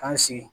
K'an sigi